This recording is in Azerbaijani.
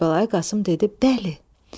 Kərbəlayı Qasım dedi: Bəli.